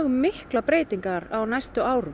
miklar breytingar á næstu árum